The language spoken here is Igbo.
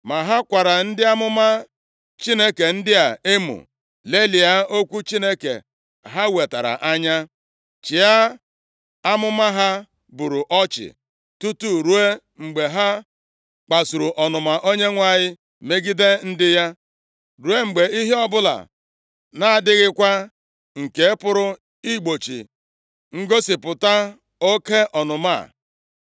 Ma ha kwara ndị amụma Chineke ndị a emo, lelịa okwu Chineke ha wetara anya, chịa amụma ha buru ọchị, tutu ruo mgbe ha kpasuru ọnụma Onyenwe anyị megide ndị ya, ruo mgbe ihe ọbụla na-adịghịkwa nke pụrụ igbochi ngosipụta oke ọnụma a.